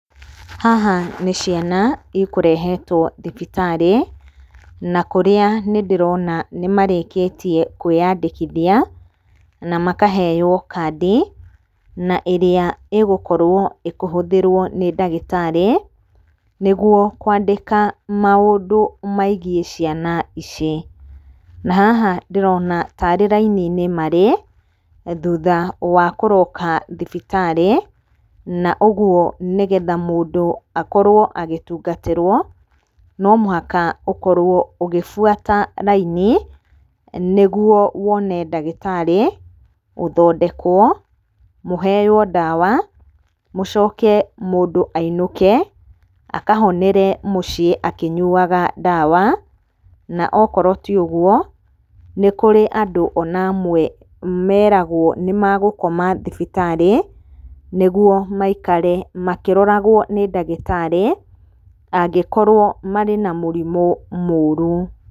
Haha nĩ ciana ikũrehetwo thibitarĩ na kũrĩa nĩ ndĩrona nĩ marĩkĩtie kwĩandĩkithia na makaheyo kandi, na ĩrĩa ĩgũkorwo ĩkĩhũthĩrwo nĩ ndagĩtarĩ, nĩguo kwandĩka maũndũ megiĩ ciana ici. Na haha ndĩrona tarĩ raini-inĩ marĩ, thutha wa kũroka thibitarĩ, na ũguo mũndũ akorwo agĩtungatĩrwo no mũhaka ũkorwo ũgĩbuata raini, nĩguo wone ndagĩtarĩ ũthondekwo, mũheyo ndawa mũcoke mũndũ ainũke akahonere mũciĩ akĩnyuaga ndawa. Na okorwo ti ũguo, nĩ kũrĩ andũ ona amwe meragwo nĩ megũkoma thibitarĩ, nĩguo maikare makĩroragwo nĩ ndagĩtarĩ angĩkorwo marĩ na mũrimũ mũru.